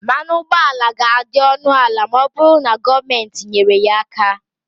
mmanụ ụgbọala ga-adị ọnụ ala ma ọ bụrụ na gọọmenti nyere ya aka